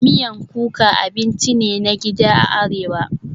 Miyan kuka abinci ne na gida a Arewa